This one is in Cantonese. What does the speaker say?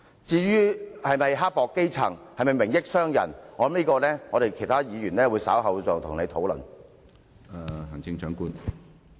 至於是否刻薄基層，是否"明益"商人，我相信其他議員稍後會再與你討論。